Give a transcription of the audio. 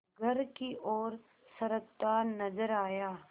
घर की ओर सरकता नजर आया